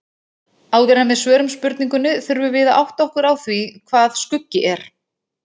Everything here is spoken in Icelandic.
Áður en við svörum spurningunni þurfum við að átta okkur á því hvað skuggi er.